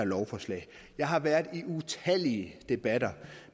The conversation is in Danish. lovforslag jeg har været i utallige debatter